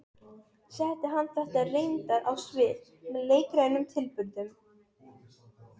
Var það ekki bráðsnjallt hjá honum?